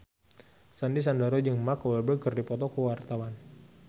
Sandy Sandoro jeung Mark Walberg keur dipoto ku wartawan